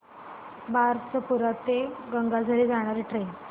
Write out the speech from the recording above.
बारबासपुरा ते गंगाझरी जाणारी ट्रेन